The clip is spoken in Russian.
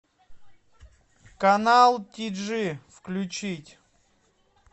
канал тиджи включить